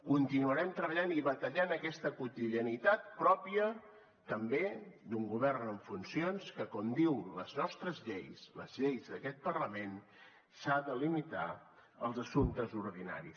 continuarem treballant i batallant aquesta quotidianitat pròpia també d’un govern en funcions que com diuen les nostres lleis les lleis d’aquest parlament s’ha de limitar als assumptes ordinaris